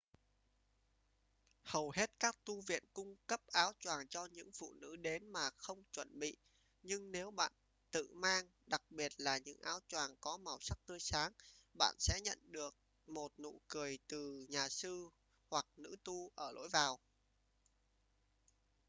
hầu hết các tu viện cung cấp áo choàng cho những phụ nữ đến mà không chuẩn bị nhưng nếu bạn tự mang đặc biệt là những áo choàng có màu sắc tươi sáng bạn sẽ nhận được một nụ cười từ nhà sư hoặc nữ tu ở lối vào